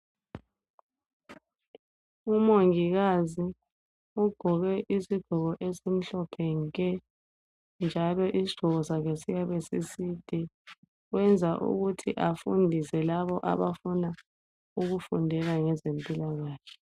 Umongikazi ugqoke isigqoko esimhlophe nke njalo isigqoko sakhe siyabe sisode kwenza ukuthi afundise labo abafuna ukufundela ngezempilakahle